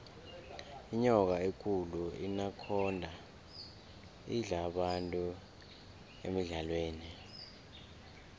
inyoka ekulu inakhonda idla abantu emidlalweni